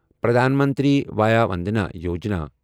Pradhan Mantri Vaya Vandana Yojana